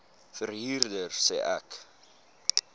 verhuurder sê ek